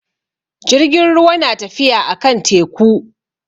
Jirgin ruwa na tafiya a kan teku.